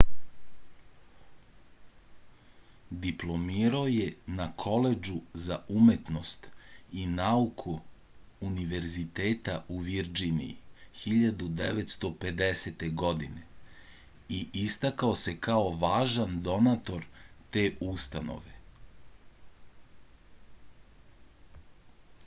diplomirao je na koledžu za umetnost i nauku univerziteta u virdžiniji 1950. godine i istakao se kao važan donator te ustanove